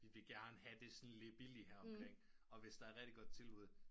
Vi vil gerne have det sådan lidt billigt her omkring og hvis der rigtigt godt tilbud